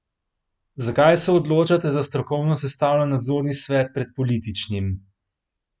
Zakaj se odločate za strokovno sestavljen nadzorni svet pred političnim?